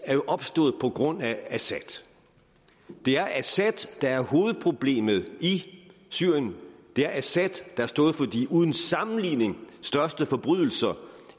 er opstået på grund af assad det er assad der er hovedproblemet i syrien det er assad der har stået for de uden sammenligning største forbrydelser